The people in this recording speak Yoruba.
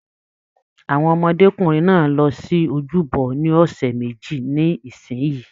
Àwọn ọmọdékunrin náà yóò lọ sí ojúbọ ní ọsẹ méjì sí isinyi.